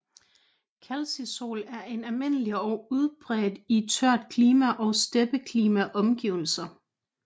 Calcisol er almindelig og udbredt i tørt klima og steppeklima omgivelser